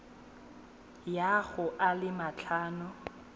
ya go a le matlhano